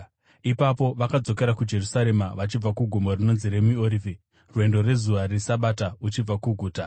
Ipapo vakadzokera kuJerusarema vachibva kugomo rinonzi reMiorivhi, rwendo rwezuva reSabata uchibva kuguta.